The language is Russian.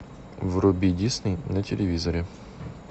вруби дисней на телевизоре